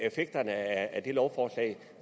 effekterne af lovforslaget